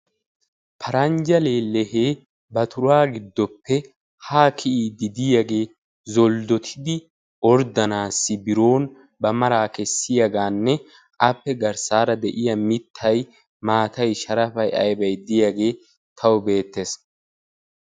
paranjja lelehe ba turra gidoppe ha kiyidi de"iyage zoldotidi ordanayo haniyage qassi appe garssara maattati beettosona.